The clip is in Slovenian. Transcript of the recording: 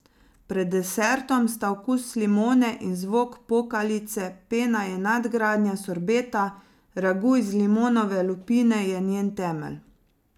Pred desertom sta okus limone in zvok pokalice, pena je nadgradnja sorbeta, ragu iz limonove lupine je njen temelj.